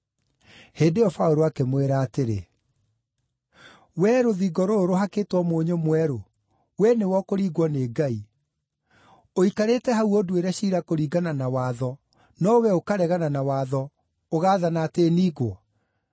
Hĩndĩ ĩyo Paũlũ akĩmwĩra atĩrĩ, “Wee rũthingo rũrũ rũhakĩtwo mũnyũ mwerũ, we nĩwe ũkũringwo nĩ Ngai! Ũikarĩte hau ũnduĩre ciira kũringana na watho, no wee ũkaregana na watho, ũgaathana atĩ ningwo!”